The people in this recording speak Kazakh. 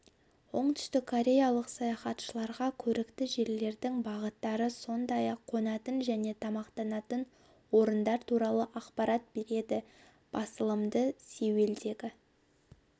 оңтүстіккореялық саяхатшыларға көрікті жерлердің бағыттары сондай-ақ қонатын және тамақтанатын орындар туралы ақпарат береді басылымды сеулдегі